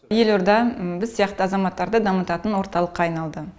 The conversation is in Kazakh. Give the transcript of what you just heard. елорда біз сияқты азаматтарды дамытатын орталыққа айналды